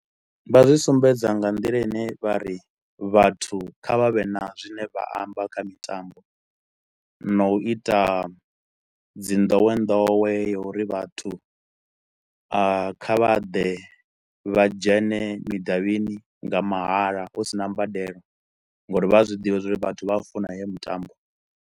Vha zwi sumbedza nga nḓila i ne vha ri vhathu kha vha vhe na zwine vha amba kha mitambo na u i ta dzi ndowendowe uri vhathu a kha vhaḓe vha dzhene mudavhini nga mahala hu sina mbadelo ngauri vha ya zwiḓivha zwauri vhathu vha a funa heyo mitambo.